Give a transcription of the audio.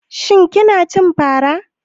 Shin kina cin fara?